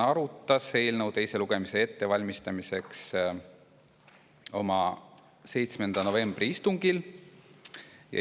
Teise lugemise ettevalmistamiseks arutas komisjon eelnõu oma 7. novembri istungil.